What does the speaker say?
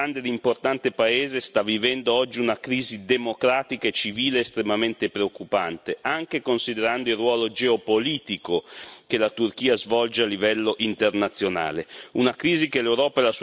Dunque quello che rimane di un grande e importante paese sta vivendo oggi una crisi democratica e civile estremamente preoccupante, anche considerando il ruolo geopolitico che la Turchia svolge a livello internazionale.